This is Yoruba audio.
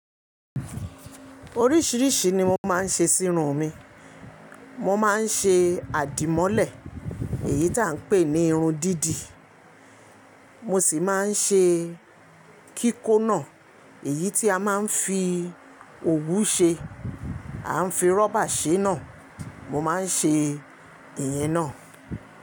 Oríṣíríṣì ni mo máa ń ṣe sí irun mi. Mo máa ń ṣe àdìmọ́lẹ̀, èyí tí à ń pè ní irun dídì. Mo sì máa ń ṣe kíkóná, èyí tí a máa ń fi òwú ṣe. A ń fi rọ́bà ṣe náà. Mo máa ń ṣe ìyẹn náà.